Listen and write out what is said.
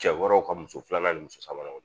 Cɛ wɛrɛw ka muso filanan nin muso sabananw